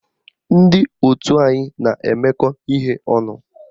Ndị otu anyị na-emekọ ihe ọnụ